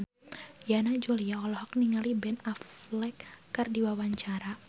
Yana Julio olohok ningali Ben Affleck keur diwawancara